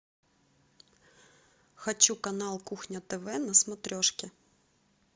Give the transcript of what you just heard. хочу канал кухня тв на смотрешке